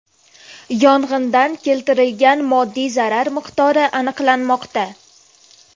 Yong‘indan keltirilgan moddiy zarar miqdori aniqlanmoqda.